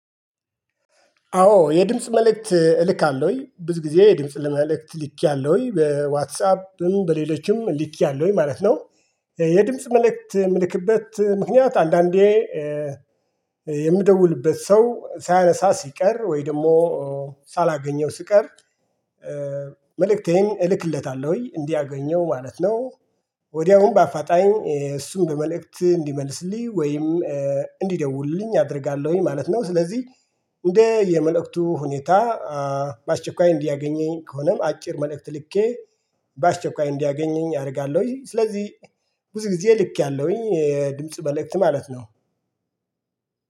አዎ የድምጽ መልእክት እልካለሁኝ ብዙ ጊዜ የድምጽ መልእክት ልኬያለሁኝ በዋትሳፕም በሌሎችም ልኬያለሁኝ ማለት ነው። የድምጽ መልእክት የምልክበት ምክንያት አንዳንዴ የምደውልበት ሰው ሳያነሳ ሲቀር ወይ ደግሞ ሳላገኘው ስቀር መልእክቴን እልክለታለሁ እንዲያገኘው ማለት ነው። ወዲያውኑ በአፋጣኝ እሱን መልእክት እንዲመልስልኝ ወይም እንዲደውልልኝ አደርጋለሁኝ ማለት ነው። ስለዚህ እንደ የመልእክቱ ሁኔታ በአስቸኳይ እንዲያገኘኝ ከሆነም አጭር መልእክት ልኬ በአስቸኳይ እንዲያገኘኝ አደርጋለሁኝ። ስለዚህ ብዙ ጊዜ ልኬያለሁኝ ድምጽ መልክት ማለት ነው።